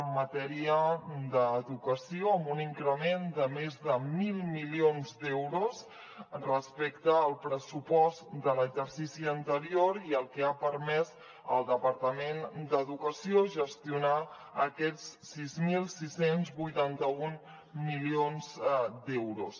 en matèria d’educació amb un increment de més de mil milions d’euros respecte al pressupost de l’exercici anterior i que ha permès al departament d’educació gestionar aquests sis mil sis cents i vuitanta un milions d’euros